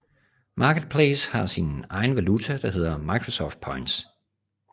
Marketplace har sin egen valuta der hedder Microsoft Points